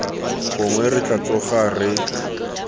gongwe re tla tsoga re